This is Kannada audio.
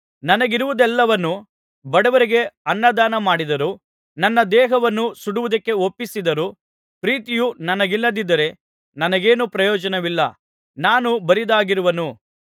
ನನಗಿರುವುದೆಲ್ಲವನ್ನು ಬಡವರಿಗೆ ಅನ್ನದಾನಮಾಡಿದರೂ ನನ್ನ ದೇಹವನ್ನು ಸುಡುವುದಕ್ಕೆ ಒಪ್ಪಿಸಿದರೂ ಪ್ರೀತಿಯು ನನಗಿಲ್ಲದಿದ್ದರೆ ನನಗೇನು ಪ್ರಯೋಜನವಿಲ್ಲ ನಾನು ಬರಿದಾಗಿರುವನು